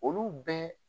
Olu bɛɛ